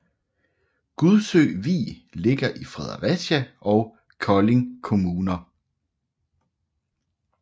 Gudsø Vig ligger i Fredericia og Kolding Kommuner